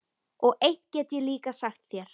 Og eitt get ég líka sagt þér